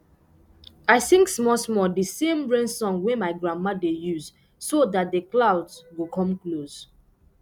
i sing smallsmall the same rain song wey my grandma dey use so that the clouds go come close